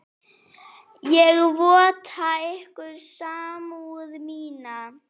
Ég votta ykkur samúð mína.